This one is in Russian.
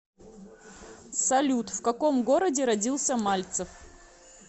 салют в каком городе родился мальцев